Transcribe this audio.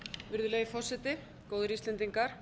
virðulegi forseti góðir íslendingar